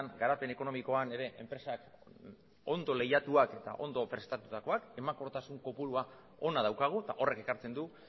garapen ekonomikoan ere enpresak ondo lehiatuak eta ondo prestatutakoak emankortasun kopurua ona daukagu eta horrek ekartzen du